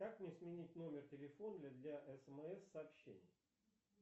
как мне сменить номер телефона для смс сообщений